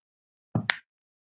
Krita styður síur.